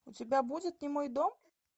у тебя будет немой дом